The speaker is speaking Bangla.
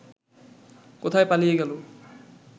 কোথায় পালিয়ে গেল